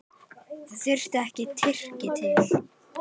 Það þarf ekki Tyrki til.